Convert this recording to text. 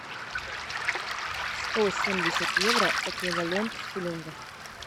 сто семьдесят евро эквивалент в шиллингах